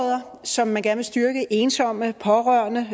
som man gerne vil styrke ensomme pårørende